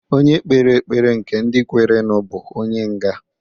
Onye kpere ekpere nke ndị kwerenu bụ onye nga.